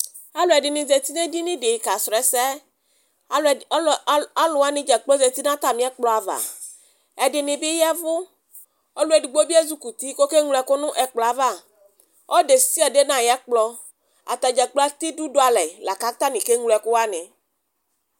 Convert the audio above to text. Alʋɛdɩnɩ zatɩ nedɩnɩ dɩ kasrɔɛsɛ alʋwaɩ dzakplo zatɩ nʋ atamɩɛkplɔava Ɛdɩnɩ yavʋ ɔlʋ edɩgbo bɩ ezɩ kʋtɩ kokeŋlo ɛkʋ nʋ ɛkplɔava ɔlʋ desiade nayɛkplɔ atadza gblo atɛ ɩdʋ dʋalɛ lakʋ atanɩ keŋlo ɛkʋawanɩ